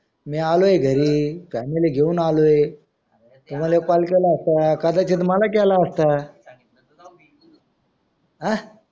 मी आलोय घरी family घेऊन आलोय तुम्हाला एक call केला असता कदाचित मला केला असता हां